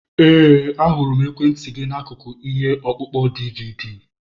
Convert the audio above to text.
Ee, ahụrụ m ekwentị gị n'akụkụ ihe ọkpụkpọ DiiViiDi.